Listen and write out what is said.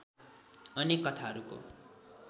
अनेक कथाहरूको